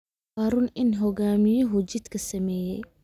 Waa run in hoggaamiyuhu jidkii sameeyay